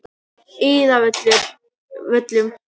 Iðavöllum